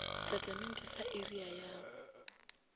setatamente sa area ya go